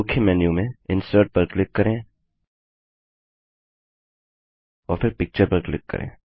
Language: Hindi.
मुख्य मेन्यू में इंसर्ट पर क्लिक करें और फिर पिक्चर पर क्लिक करें